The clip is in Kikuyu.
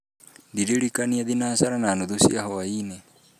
ndiririkania thinacara na nuthu cia hwaĩ-inĩ